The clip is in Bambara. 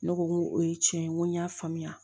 Ne ko ŋo o ye tiɲɛ ye ŋo n y'a faamuya